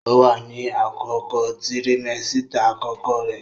Ó wà ní àkókò tirimẹ́sítà àkọ́kọ́ rẹ̀